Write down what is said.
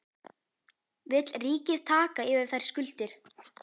Vill ríkið taka yfir þær skuldir?